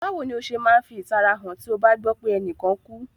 Bàwoni o se ma n fi ìtara han ti o ba gbọ pe enìkan kú?